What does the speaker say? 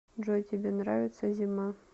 джой тебе нравится зима